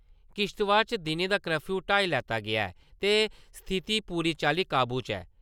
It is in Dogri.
किश्तबाड़ च दिनें दा कर्फयू हटाई लैता गेआ ऐ ते स्थिती पूरी चाल्ली काबू च ऐ |